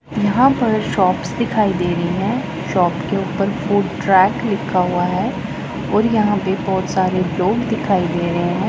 यहा पर शॉप्स दिखाई दे रही है शॉप के उपर फूड ट्रैक लिखा हुआ है और यहा पे बहोत सारे लोग दिखाई दे रहे हैं।